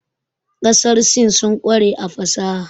Ƙasar Sin sun ƙware a fasaha.